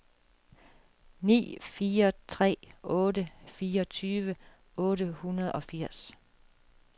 ni fire tre otte fireogtyve otte hundrede og firs